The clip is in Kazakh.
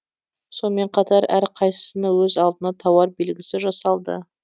сонымен қатар әр қайсысының өз алдына тауар белгісі жасалды